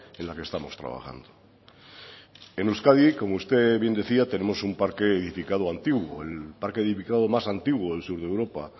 en la que estamos trabajando en euskadi como usted bien decía tenemos un parque edificado antiguo el parque edificado más antigua del sur de europa